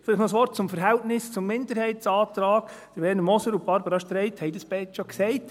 Vielleicht noch ein Wort zum Verhältnis zum Minderheitsantrag: Werner Moser und Barbara Streit haben es beide schon gesagt;